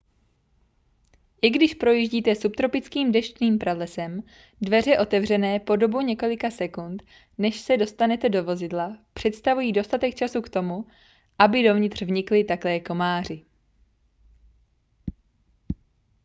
i když projíždíte subtropickým deštným pralesem dveře otevřené po dobu několika sekund než se dostanete do vozidla představují dostatek času k tomu aby dovnitř vnikli také komáři